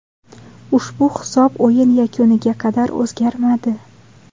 Ushbu hisob o‘yin yakuniga qadar o‘zgarmadi.